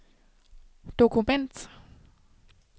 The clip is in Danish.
dokument